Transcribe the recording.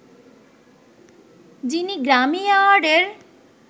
যিনি Grammy award এর